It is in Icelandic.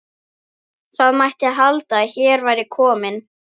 Það mætti halda að hér væri kominn